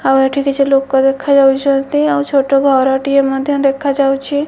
ଆଉ ଏଠି କିଛି ଲୋକ ଦେଖାଯାଉଚନ୍ତି ଆଉ ଛୋଟ ଘରଟିଏ ମଧ୍ୟ ଦେଖାଯାଉଚି।